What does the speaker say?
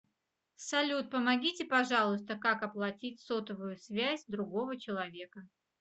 салют помогите пожалуйста как оплатить сотовую связь другого человека